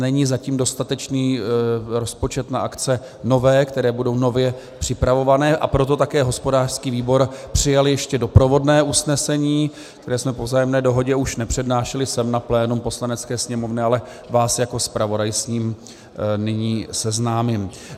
Není zatím dostatečný rozpočet na akce nové, které budou nově připravované, a proto také hospodářský výbor přijal ještě doprovodné usnesení, které jsme po vzájemné dohodě už nepřednášeli sem na plénum Poslanecké sněmovny, ale vás jako zpravodaj s ním nyní seznámím.